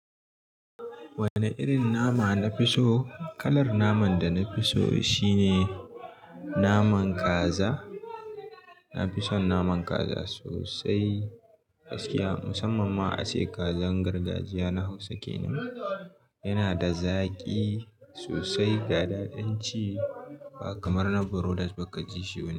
Wane irin nama na fi so? Kalar naman da na fi so shine naman kaza. Na fi son naman kaza sosai gaskiya musamman ma a sai kazar gargajiya na Hausa kenan. Yana da zaƙi sosai ga daɗin ci ba kamar na brolers ba ka ji shi wani.